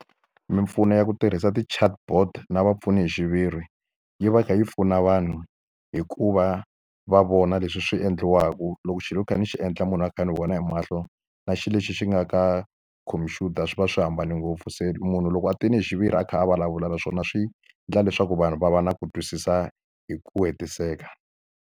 Mimpfuno ya ku tirhisa ti-chatbot na vapfuni hi xiviri, yi va yi kha yi pfuna vanhu hi ku va va vona leswi swi endliwaka. Loko xilo ni kha ni xi endla munhu a kha ni vona hi mahlo, na xilo lexi xi nga ka khompyuta swi va swi hambane ngopfu. Se munhu loko a tile hi xiviri a kha a vulavula na swona swi endla leswaku vanhu va va na ku twisisa hi ku hetiseka.